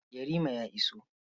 Yarima ya iso.